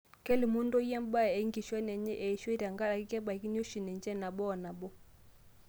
Kelimu ntoyie mbaa enkishon enye eishoi tenkaraki kebaikini oshi ninche nabo o nabo